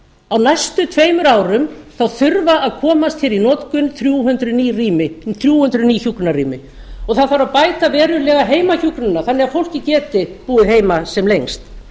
á næstu tveimur án þurfa að komast hér í notkun þrjú hundruð ný hjúkrunarrými og það þarf að bæta verulega heimahjúkrunina þannig að fólkið geti búið heima sem lengst